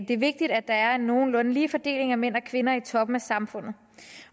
det er vigtigt at der er en nogenlunde lige fordeling af mænd og kvinder i toppen af samfundet